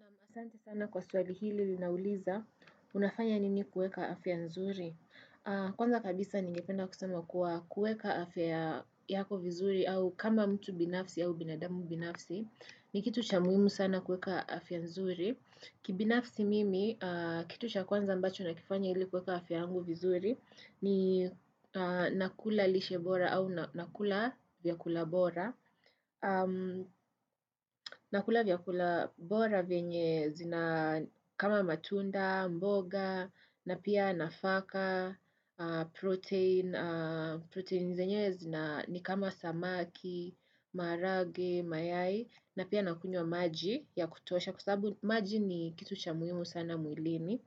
Naam asante sana kwa swali hili linauliza, unafanya nini kueka afya nzuri. Kwanza kabisa ningependa kusema kuwa kueka afya yako vizuri au kama mtu binafsi au binadamu binafsi. Ni kitu cha muhimu sana kueka afia nzuri. Kibinafsi mimi, kitu cha kwanza ambacho na kifanya hili kueka afia yangu vizuri, ni nakula lishe bora au nakula vyakula bora. Na kula vya kula bora venye zina kama matunda, mboga, na pia nafaka, protein, protein zenyewe zina ni kama samaki, marage, mayai, na pia nakunywa maji ya kutosha kwasabaabu maji ni kitu cha muhimu sana mwilini.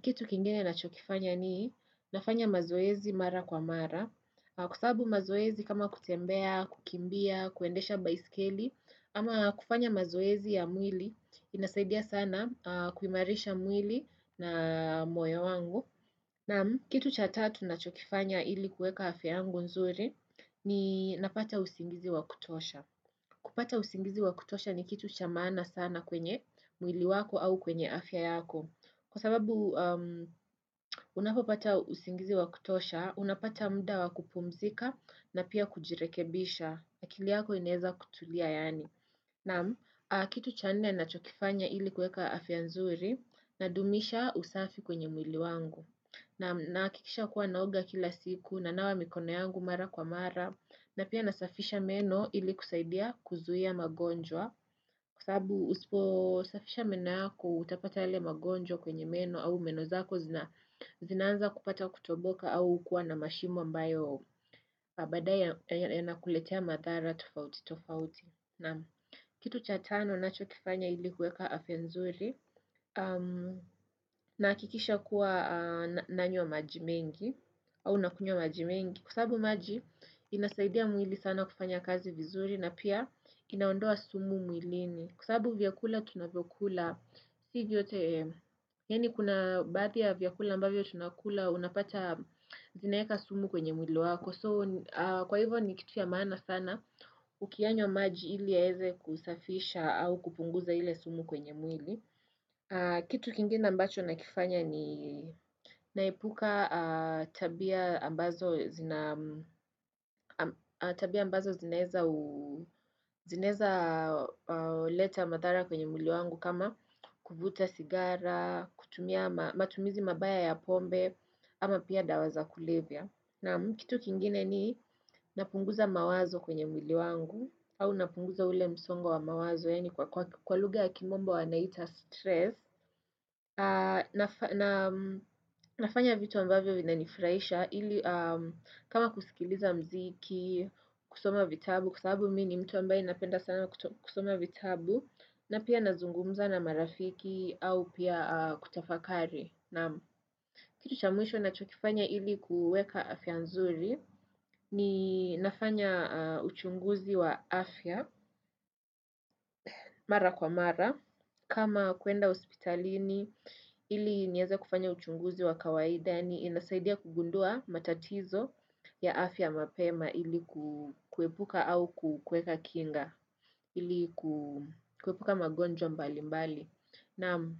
Kitu kingine na chokifanya ni nafanya mazoezi mara kwa mara Kwasabu mazoezi kama kutembea, kukimbia, kuendesha baiskeli ama kufanya mazoezi ya mwili inasaidia sana kuimarisha mwili na moyo wangu na kitu cha tatu na chokifanya ili kueka afya yangu nzuri ni napata usingizi wa kutosha kupata usingizi wa kutosha ni kitu chamaana sana kwenye mwili wako au kwenye afya yako Kwa sababu unapopata usingizi wakutosha, unapata muda wakupumzika na pia kujirekebisha na akiliyako ineza kutulia yani. Naam, kitu cha nne na chokifanya ili kueka afyanzuri na dumisha usafi kwenye mwili wangu. Naam, nahakikisha kuwa naoga kila siku na nawa mikona yangu mara kwa mara na pia nasafisha meno ili kusaidia kuzuia magonjwa. Kwasabu usipo safisha mena yako utapata yale magonjo kwenye meno au meno zako zinanza kupata kutoboka au kuwa na mashimo ambayo baadaye ya nakuletea madhara tofauti tofauti. Na kitu chatano nacho kifanya ilikuweka afya nzuri na kikisha kuwa nanywa majimengi au nakunywa majimengi. Kw\sabu maji inasaidia mwili sana kufanya kazi vizuri na pia inaondoa sumu mwilini. Kwa sabu vyakula tunavyo kula, si vyote, yani kuna baadhia vyakula ambavyo tunakula unapata zinaeka sumu kwenye mwili wako. So, kwa hivyo ni kitu ya maana sana, ukianywa maji ili yaeze kusafisha au kupunguza ile sumu kwenye mwili. Kitu kingine mbacho nakifanya ni naipuka tabia ambazo zinaeza leta madhara kwenye mwili wangu kama. Kuvuta sigara, kutumia, matumizi mabaya ya pombe, ama pia dawaza kulevia. Naam kitu kingine ni napunguza mawazo kwenye mwili wangu, au napunguza ule msongo wa mawazo, yani kwa lugha ya kimombo wa naita stress. Nafanya vitu ambavyo vinanifraisha, ili kama kusikiliza mziki, kusoma vitabu, kwasabu mini mtu ambaye napenda sana kusoma vitabu na pia nazungumza na marafiki au pia kutafakari na kitu chamwisho na chokifanya ili kuweka afya nzuri ni nafanya uchunguzi wa afya mara kwa mara kama kuenda hospitalini ili nieze kufanya uchunguzi wa kawaida na inasaidia kugundua matatizo ya afya mapema ili kuepuka au kuweka kinga ili kuwepuka magonjwa mbali mbali Naam.